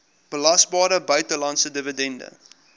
belasbare buitelandse dividend